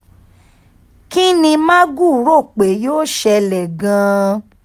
kín ní magu rò pé yóò ṣẹlẹ̀ gan-an